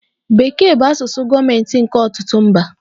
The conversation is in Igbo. Bekee bụ asụsụ gọọmentị nke ọtụtụ mba.